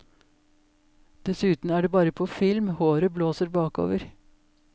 Dessuten er det bare på film håret blåser bakover.